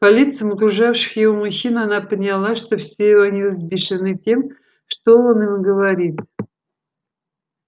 по лицам окружавших его мужчин она поняла что все они взбешены тем что он им говорит